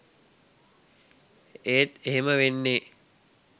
ඒත් එහෙම වෙන්නෙ